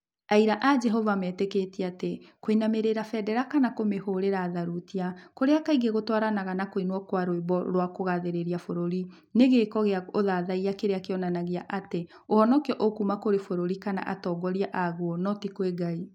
Aira a Jehova metĩkĩtie atĩ kũinamĩrĩra bendera kana kũmĩhũũrĩra thurutia, kũrĩa kaingĩ gũtwaranaga na kũinwo kwa rwĩmbo rwa kũgaathĩrĩria bũrũri, nĩ gĩĩko kĩa ũthathaiya kĩrĩa kĩonanagia atĩ ũhonokio ũkuuma kũrĩ bũrũri kana atongoria a guo, no ti kwĩ Ngai.